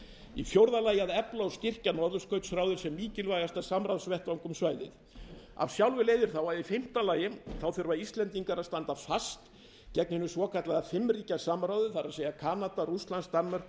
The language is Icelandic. í fjórða lagi að efla og styrkja norðurskautsráðið sem mikilvægasta samráðsvettvang um svæðið af sjálfu leiðir þá að í fimmta lagi þurfa íslendingar að standa fast gegn hinu svokallaða fimm ríkja samráði það er kanada rússlands danmerkur